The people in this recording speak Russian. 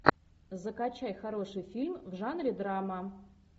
закачай хороший фильм в жанре драма